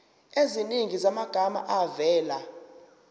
eziningi zamagama avela